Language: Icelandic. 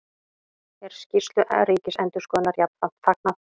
Er skýrslu Ríkisendurskoðunar jafnframt fagnað